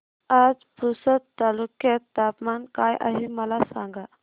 आज पुसद तालुक्यात तापमान काय आहे मला सांगा